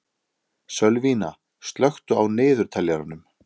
Sölvína, slökktu á niðurteljaranum.